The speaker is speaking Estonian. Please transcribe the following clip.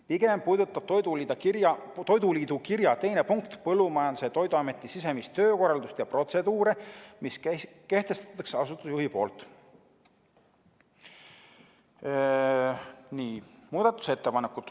Pigem puudutab Toiduliidu kirja teine punkt Põllumajandus- ja Toiduameti sisemist töökorraldust ja protseduure, mille kehtestab asutuse juht.